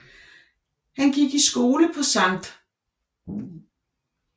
Han gik i skole på Sct